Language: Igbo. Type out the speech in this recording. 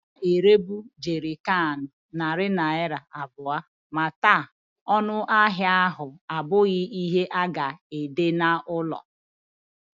A na-erebu Jerrycans narị naira abụọ, ma taa, ọnụ ahịa ahụ abụghị ihe a ga-ede n'ụlọ.